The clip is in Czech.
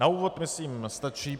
Na úvod myslím stačí.